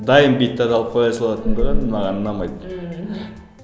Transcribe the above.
дайын биіктерді алып қоя салатындығы маған ұнамайды ммм